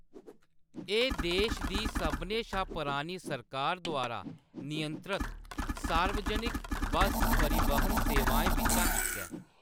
एह्‌‌ देश दी सभनें शा पुरानी सरकार द्वारा नियंत्रत सार्वजनिक बस परिवहन सेवाएं बिच्चा इक ऐ।